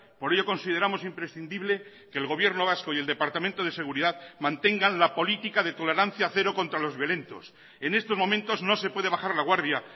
por ello consideramos imprescindible que el gobierno vasco y el departamento de seguridad mantengan la política de tolerancia cero contra los violentos en estos momentos no se puede bajar la guardia